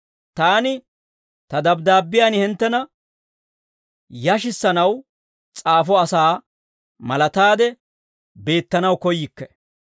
Taani ta dabddaabbiyaan hinttena yashissanaw s'aafo asaa malaataade beettanaw koyyikke.